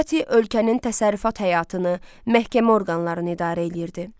Çati ölkənin təsərrüfat həyatını, məhkəmə orqanlarını idarə eləyirdi.